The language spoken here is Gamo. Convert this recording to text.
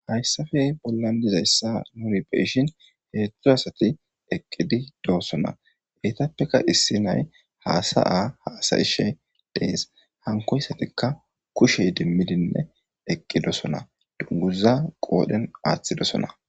hayssafe bollan dizayssa nuri beishin heedzdzu asati eqqidi doosona geytappeka issi nay haasa a haasa ishe dees hankoyssatikka kushey dimmidinne eqqidosona dunguza qoodhen aaththidosona